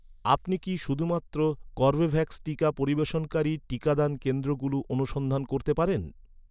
আপনি কি, শুধুমাত্র কর্বেভ্যাক্স টিকা পরিবেশনকারী, টিকাদান কেন্দ্রগুলো অনুসন্ধান করতে পারেন?